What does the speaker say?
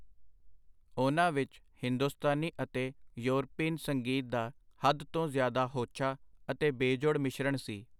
ਉਹਨਾਂ ਵਿਚ ਹਿੰਦੁਸਤਾਨੀ ਅਤੇ ਯੋਰਪੀਨ ਸੰਗੀਤ ਦਾ ਹੱਦ ਤੋਂ ਜ਼ਿਆਦਾ ਹੋਛਾ ਅਤੇ ਬੇਜੋੜ ਮਿਸ਼ਰਣ ਸੀ.